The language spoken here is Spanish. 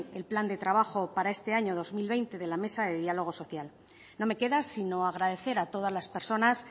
el plan de trabajo para este año dos mil veinte de la mesa de diálogo social no me queda sino agradecer a todas las personas